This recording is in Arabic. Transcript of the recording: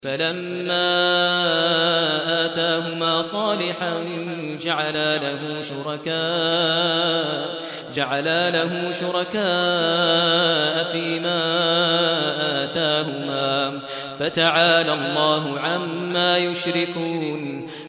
فَلَمَّا آتَاهُمَا صَالِحًا جَعَلَا لَهُ شُرَكَاءَ فِيمَا آتَاهُمَا ۚ فَتَعَالَى اللَّهُ عَمَّا يُشْرِكُونَ